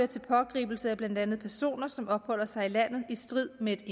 til pågribelse af blandt andet personer som opholder sig i landet i strid med